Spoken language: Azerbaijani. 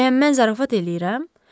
Bəyənməz zarafat eləyirəm?